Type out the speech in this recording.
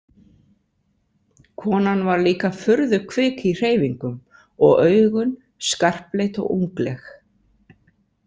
Konan var líka furðu kvik í hreyfingum og augun skarpleit og ungleg.